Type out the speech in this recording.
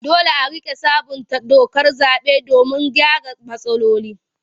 Dole a riƙa sabunta dokar zaɓe domin a gyara matsaloli.